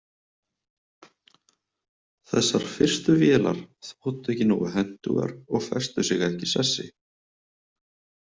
Þessar fyrstu vélar þóttu ekki nógu hentugar og festu sig ekki í sessi.